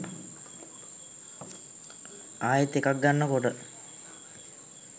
ආයෙත් එකක් ගන්න කොට